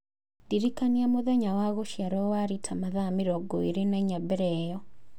ndĩrikania mũthenya wa gũciarũo wa Rita mathaa mĩrongo ĩĩrĩ na inya mbere ĩyo